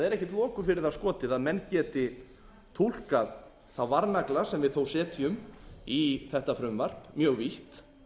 loku fyrir það skotið að menn geti túlkað þá varnagla sem við þó setjum í þetta frumvarp mjög vítt